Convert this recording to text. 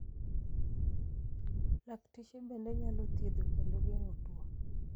lakteche bende nyalo thiedho kendo geng'o tuo